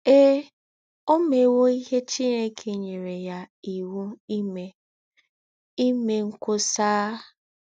Ee, ó méwò íhé Chineke nyérè yá íwú ímè — ímè ńkwọ́sà!